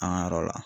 An ka yɔrɔ la